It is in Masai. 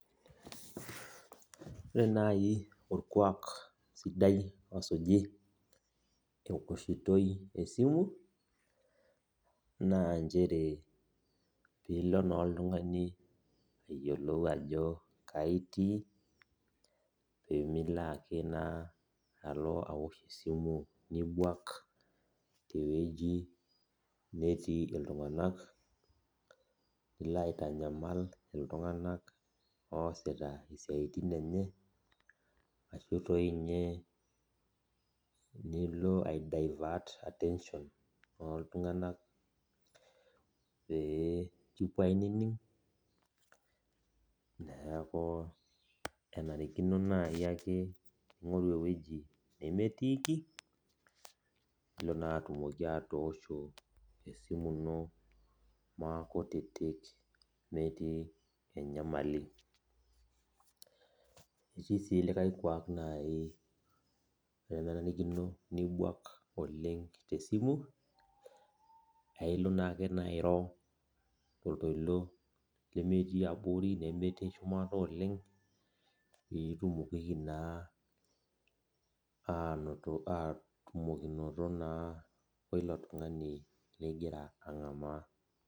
Ore naaji orkuak sidai osuji tewoahitoi esimu naa nchere piilo naa oltung'ani ayiolou ajo kaji itii peemilo ake oltung'ani ajo awosh esimu jibuak tewueji natii iltung'anak nilo aitanyamal iltung'anak oosita isiatin enye ashua dii ninye nilo adaivat attention neeku enarikinono naaji ake ning'oru ewueji nemetiiki nilo naa atumoki atoosho esimu iino maakutiyik metii enyamali etii sii likae kuaknaaji nemenarikino nibuak tesimu naa ilo naa ake airo toltoilo lemeyii abori nemetii shumata pee itumokiki naa atumokinoto oilo tung'ani ligira ang'amaa